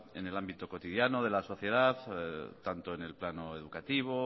en el ámbito cotidiano de la sociedad tanto en el plano educativo